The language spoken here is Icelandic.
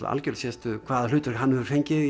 algjöra sérstöðu hvaða hlutverk hann hefur fengið